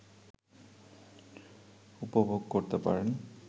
উপভোগ করতে পারেন